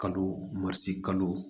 Kalo marise kalo